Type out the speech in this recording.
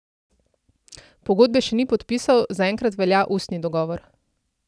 Pogodbe še ni podpisal, zaenkrat velja ustni dogovor.